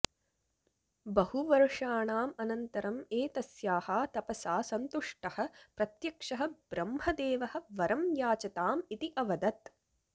बहुवर्षाणाम् अनन्तरम् एतस्याः तपसा सन्तुष्टः प्रत्यक्षः ब्रह्मदेवः वरं याचताम् इति अवदत्